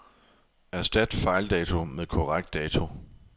Erstat fejldato med korrekt dato.